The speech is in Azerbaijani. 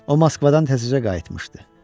O Moskvadan təzəcə qayıtmışdı.